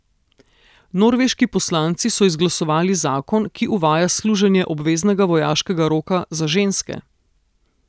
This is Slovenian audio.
Norveški poslanci so izglasovali zakon, ki uvaja služenje obveznega vojaškega roka za ženske.